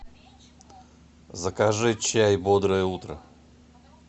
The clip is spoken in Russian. закажи чай бодрое утро